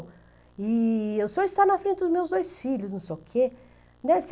E o senhor está na frente dos meus dois filhos, não sei o quê.